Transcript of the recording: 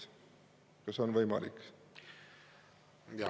Kas on võimalik?